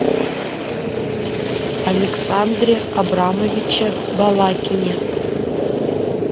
александре абрамовиче балакине